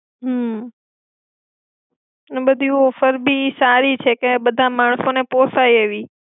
હમ એના ડી ઑફરબી સારી છે કે બધા માણસોને પોસાય એવી.